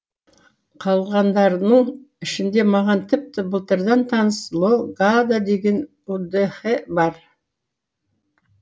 қалғандарының ішінде маған тіпті былтырдан таныс ло гада деген удэхе бар